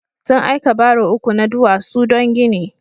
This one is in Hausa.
Sun aika baro uku na duwasu don gini.